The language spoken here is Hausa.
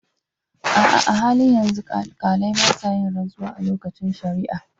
A'a, a halin yanzu, alkalai ba sa yin rantsuwa a lokacin shari'a.